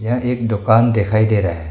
यह एक दोकान दिखाई दे रहा है।